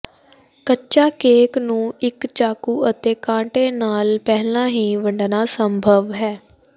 ਕੱਚਾ ਕੇਕ ਨੂੰ ਇਕ ਚਾਕੂ ਅਤੇ ਕਾਂਟੇ ਨਾਲ ਪਹਿਲਾਂ ਹੀ ਵੰਡਣਾ ਸੰਭਵ ਹੈ